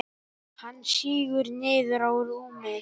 Hann sígur niður á rúmið.